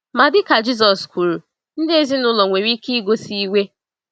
Ma dịka Jisọs kwuru, ndị ezinụlọ nwere ike igosi iwe.